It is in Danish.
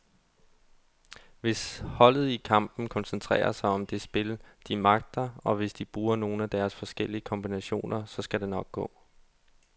Hvis holdet i kampen koncentrerer sig om det spil, de magter, og hvis de bruger nogle af deres forskellige kombinationer, så skal det nok gå.